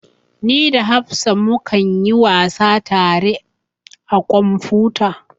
Ni da hafsa mu kan yi wasa tare a kwamfuta